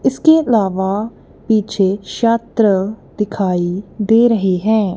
इसके अलावा पीछे शात्र दिखाई दे रहे हैं।